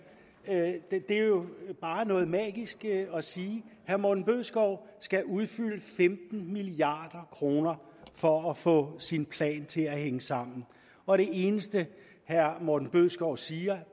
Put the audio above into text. det er jo bare noget magi man siger herre morten bødskov skal udfylde femten milliard kroner for at få sin plan til at hænge sammen og det eneste herre morten bødskov siger